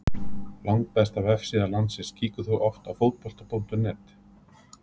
Langbesta vefsíða landsins Kíkir þú oft á Fótbolti.net?